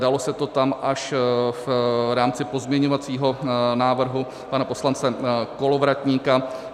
Dalo se to tam až v rámci pozměňovacího návrhu pana poslance Kolovratníka.